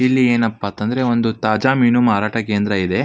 ಇಲ್ಲಿ ಏನಪ್ಪಾ ಅಂತ ಅಂದ್ರೆ ಒಂದು ತಾಜಾ ಮೀನು ಮಾರಾಟ ಕೇಂದ್ರವಿದೆ.